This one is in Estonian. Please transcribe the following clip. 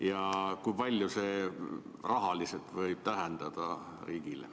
Ja kui palju see riigile rahaliselt võib tähendada ?